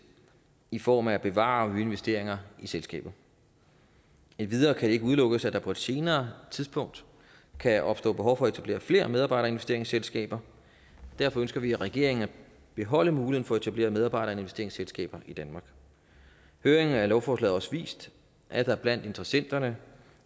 i form af at bevare nye investeringer i selskabet endvidere kan det ikke udelukkes at der på et senere tidspunkt kan opstå behov for at etablere flere medarbejderinvesteringsselskaber derfor ønsker vi i regeringen at beholde muligheden for at etablere medarbejderinvesteringsselskaber i danmark høringen af lovforslaget har også vist at der blandt interessenterne